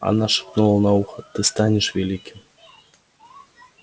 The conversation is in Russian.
она шептала на ухо ты станешь великим